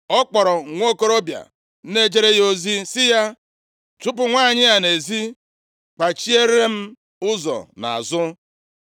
Ọ kpọrọ nwokorobịa na-ejere ya ozi sị ya, “Chụpụ nwanyị a nʼezi, kpachiere m ụzọ nʼazụ.”